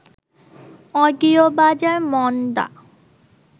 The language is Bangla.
অডিও বাজার মন্দা